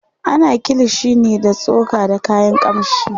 ana kilishi ne da tsoka da kayan kamshi